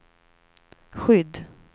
skydd